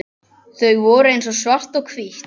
Þau voru eins og svart og hvítt.